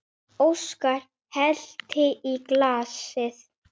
Óskar hellti í glasið.